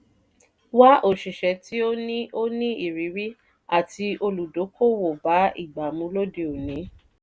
wa òṣìṣẹ́ tí o ní o ní ìrírí ati olùdókòwò bá ìgbà mu lóde òní